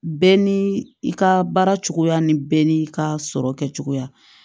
Bɛɛ ni i ka baara cogoya ni bɛɛ n'i ka sɔrɔ kɛcogoya